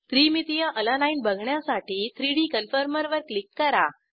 त्रिमितिय अलानीने बघण्यासाठी 3डी कन्फॉर्मर वर क्लिक करा